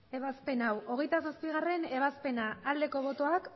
ebazpen hau hogeita zazpigarrena ebazpena aldeko botoak